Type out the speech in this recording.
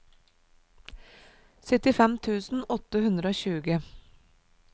syttifem tusen åtte hundre og tjue